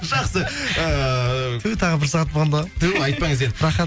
жақсы ыыы ту тағы бір сағат болғанда ғой ту айтпаңыз енді рахат